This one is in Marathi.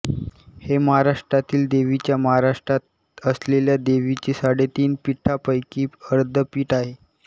हे महाराष्ट्रातील देवीच्या महाराष्ट्रात असलेल्या देवीची साडेतीन पीठांपैकी अर्धपीठ आहे